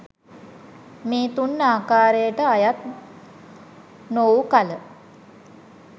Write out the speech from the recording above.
මේ තුන් ආකාරයට අයත් නොවු කළ